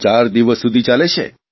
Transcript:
ચાર દિવસ સુધી ચાલે છે